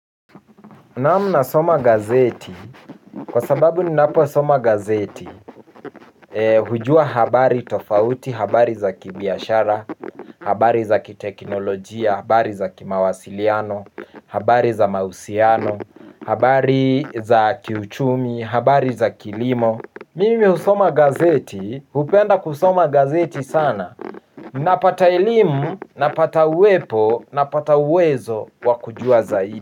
Naam nasoma gazeti kwa sababu ninaposoma gazeti hujua habari tofauti, habari za kibiashara, habari za kiteknolojia, habari za kimawasiliano, habari za mahusiano, habari za kiuchumi, habari za kilimo. Mimi husoma gazeti, hupenda kusoma gazeti sana. Napata elimu, napata uwepo, napata uwezo wa kujua zaidi.